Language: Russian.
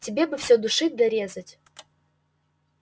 тебе бы всё душить да резать